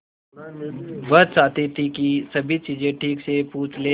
वह चाहती थी कि सभी चीजें ठीक से पूछ ले